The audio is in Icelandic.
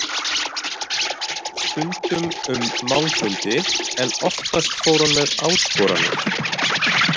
Stundum um málfundi en oftast fór hann með áskoranir.